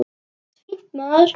Allt fínt, maður.